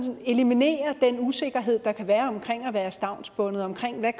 eliminere den usikkerhed der kan være omkring at være stavnsbundet omkring hvad